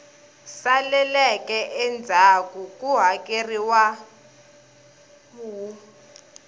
saleleke endzhaku ku hakeleriwa wu